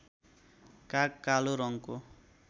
काग कालो रङ्गको